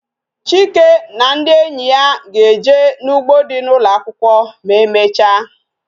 Chike na ndị enyi ya ga-eje n'u3gbo dị n' ụlọakwụkwọ ma e mechaa